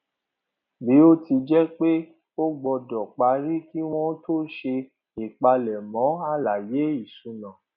bí ó tilẹ jẹ pé ó gbọdọ parí kí wọn tó ṣe ìpalẹmọ àlàyé ìṣúná